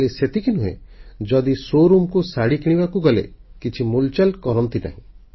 ଖାଲି ସେତିକି ନୁହେଁ ଯଦି ବଡଦୋକାନ ବା ଶୋରୁମକୁ ଶାଢ଼ୀ କିଣିବାକୁ ଗଲେ କିଛି ମୁଲଚାଲ କରନ୍ତିନି